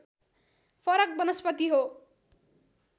फरक वनस्पति हो